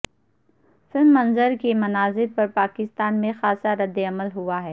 film منظر کے مناظر پر پاکستان میں خاصا رد عمل ہوا ہے